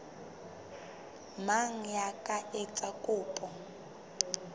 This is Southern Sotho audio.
mang ya ka etsang kopo